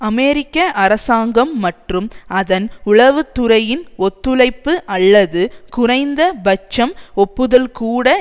அமெரிக்க அரசாங்கம் மற்றும் அதன் உளவு துறையின் ஒத்துழைப்பு அல்லது குறைந்த பட்சம் ஒப்புதல்கூட